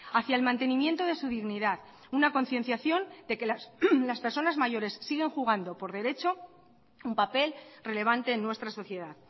hacia el mantenimiento de su dignidad una concienciación de que las personas mayores siguen jugando por derecho un papel relevante en nuestra sociedad